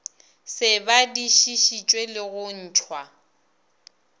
se badišišitšwe le go ntšhwa